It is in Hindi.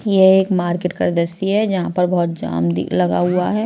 ये एक मार्केट कर दस्सी है जहां पर बहुत जाम लगा हुआ है ।